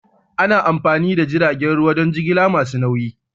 Ana amfani da jiragen ruwa don jigilar kaya masu nauyi.